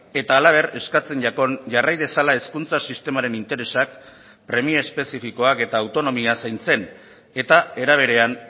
eta halaber eskatzen jakon jarrai dezala hezkuntza sistemaren interesak premia espezifikoak eta autonomia zaintzen eta era berean